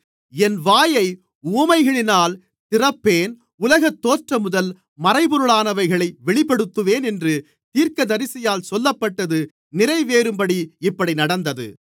என் வாயை உவமைகளினால் திறப்பேன் உலகத்தோற்றமுதல் மறைபொருளானவைகளை வெளிப்படுத்துவேன் என்று தீர்க்கதரிசியால் சொல்லப்பட்டது நிறைவேறும்படி இப்படி நடந்தது